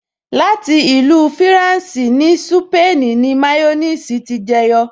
Láti ìlú fúrànsì ní súpènì ni máyọ́nìsì ti jẹ yọ